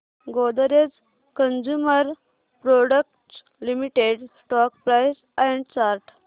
Godrej consumer products limited stock price and chart